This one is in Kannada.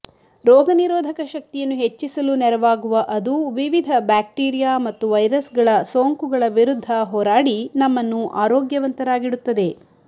ರೋಗ ನಿರೋಧಕ ಶಕ್ತಿಯನ್ನು ಹೆಚ್ಚಿಸಲು ನೆರವಾಗುವ ಅದು ವಿವಿಧ ಬ್ಯಾಕ್ಟೀರಿಯಾ ಮತ್ತು ವೈರಸ್ಗಳ ಸೋಂಕುಗಳ ವಿರುದ್ಧ ಹೋರಾಡಿ ನಮ್ಮನ್ನು ಆರೋಗ್ಯವಂತರಾಗಿಡುತ್ತದೆ